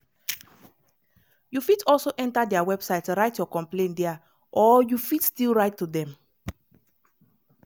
you fit also enta dia website write your complain dia or you fit still write to dem